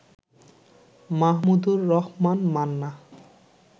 Mahmudur Rahman Manna